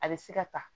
A bɛ se ka ta